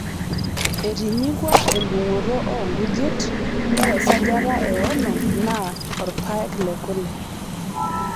etinyikua endungoto oo nkujit (ore esajata e onom naa orpaek lekule)